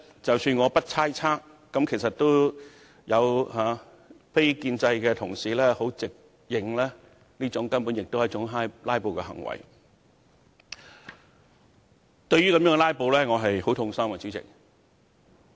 即使我不猜測，非建制派同事也直認這根本是"拉布"，主席，這樣"拉布"令我很痛心。